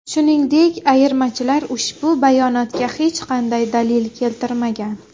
Shuningdek, ayirmachilar ushbu bayonotga hech qanday dalil keltirmagan.